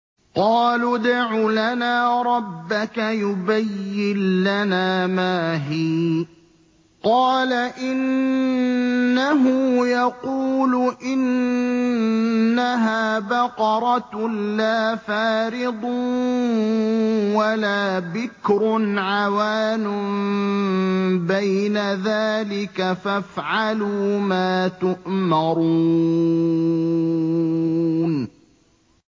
قَالُوا ادْعُ لَنَا رَبَّكَ يُبَيِّن لَّنَا مَا هِيَ ۚ قَالَ إِنَّهُ يَقُولُ إِنَّهَا بَقَرَةٌ لَّا فَارِضٌ وَلَا بِكْرٌ عَوَانٌ بَيْنَ ذَٰلِكَ ۖ فَافْعَلُوا مَا تُؤْمَرُونَ